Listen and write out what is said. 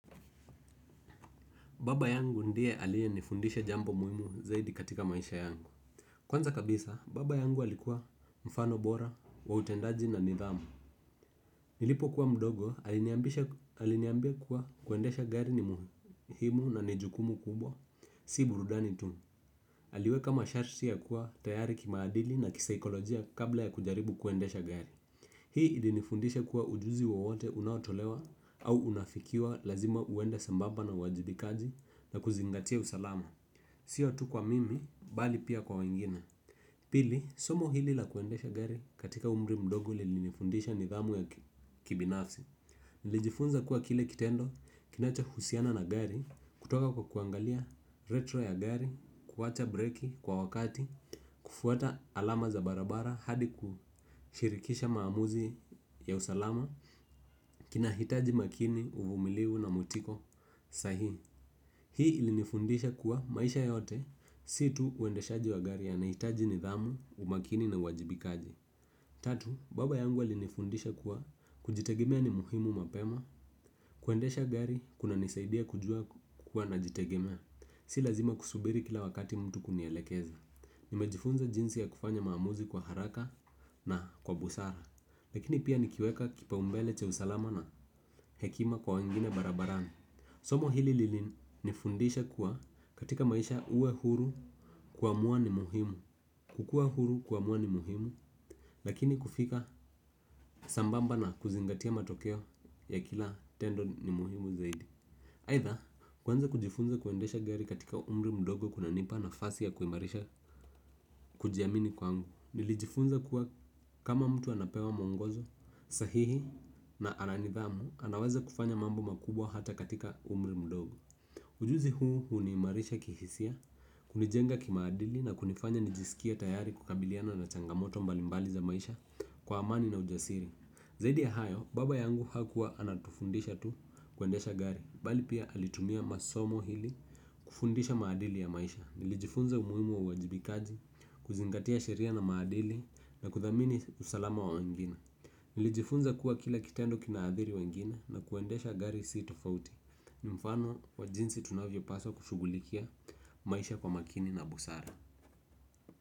Baba yangu ndiye aliyenifundisha jambo muhimu zaidi katika maisha yangu. Kwanza kabisa baba yangu alikuwa mfano bora wa utendaji na nidhamu. Nilipokuwa mdogo aliniambia kuwa kuendesha gari ni muhimu na ni jukumu kubwa si burudani tu. Aliweka masharti ya kuwa tayari kimaadili na kisaikolojia kabla ya kujaribu kuendesha gari. Hii ilinifundisha kuwa ujuzi wowote unaotolewa au unafikiwa lazima uende sambamba na uwajibikaji na kuzingatia usalama. Sio tu kwa mimi, bali pia kwa wengine. Pili, somo hili la kuendesha gari katika umri mdogo lilinifundisha nidhamu ya kibinafsi. Nilijifunza kuwa kile kitendo kinachohusiana na gari kutoka kwa kuangalia retro ya gari, kuwacha break kwa wakati. Kufuata alama za barabara hadi kushirikisha maamuzi ya usalama. Kinahitaji makini uvumiliu na mutiko sahihi. Hii ilinifundisha kuwa maisha yote si tu uendeshaji wa gari yanahitaji nidhamu, umakini na uwajibikaji. Tatu, baba yangu alinifundisha kuwa kujitegemea ni muhimu mapema. Kuendesha gari kunanisaidia kujua kukua najitegemea. Si lazima kusubiri kila wakati mtu kunielekeza. Nimejifunza jinsi ya kufanya maamuzi kwa haraka na kwa busara. Lakini pia nikiweka kipaumbele cha usalama na hekima kwa wengine barabarani somo hili lilinifundisha kuwa katika maisha uwe huru kuamua ni muhimu. Kukua huru kuamua ni muhimu. Lakini kufika sambamba na kuzingatia matokeo ya kila tendo ni muhimu zaidi. Aitha kuanza kujifunza kuendesha gari katika umri mdogo kunanipa nafasi ya kuimarisha kujiamini kwangu. Nilijifunza kuwa kama mtu anapewa muongozo sahihi na ana nidhamu, anaweza kufanya mambo makubwa hata katika umri mdogo. Ujuzi huu huniimarisha kihisia, hunijenga kimaadili na kunifanya nijisikie tayari kukabiliana na changamoto mbalimbali za maisha kwa amani na ujasiri. Zaidi ya hayo, baba yangu hakuwa anatufundisha tu kuendesha gari, bali pia alitumia masomo ili kufundisha maadili ya maisha. Nilijifunza umuhimu wa uwajibikaji kuzingatia sheria na maadili na kuthamini usalama wa wengine. Nilijifunza kuwa kila kitendo kinaadhiri wangine na kuendesha gari si tofauti. Ni mfano wa jinsi tunavyopaswa kushughulikia maisha kwa makini na busara.